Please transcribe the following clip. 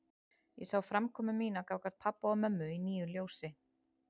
Ég sá framkomu mína gagnvart pabba og mömmu í nýju ljósi.